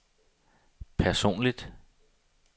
personligt